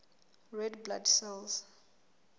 red blood cells